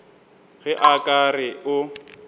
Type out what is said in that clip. ge a ka re o